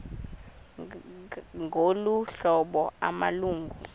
ngolu hlobo amalungu